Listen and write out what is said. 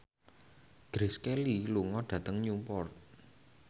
Grace Kelly lunga dhateng Newport